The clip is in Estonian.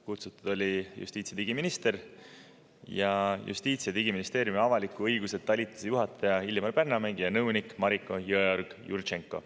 Kutsutud olid justiits- ja digiminister ja Justiits- ja Digiministeeriumi avaliku õiguse talituse juhataja Illimar Pärnamägi ja nõunik Mariko Jõeorg-Jurtšenko.